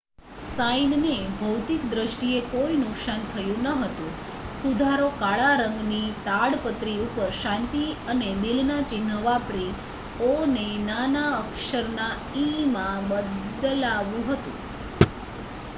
"સાઈનને ભૌતિક દ્રિષ્ટીએ કોઈ નુકસાન થયુ નહોતુ; સુધારો કાળા રંગની તાડપત્રી ઉપર શાંતિ અને દિલ ના ચિન્હ વાપરી "ઓ" ને નાના અક્ષર ના "ઈ""માં બદલાવા હતુ .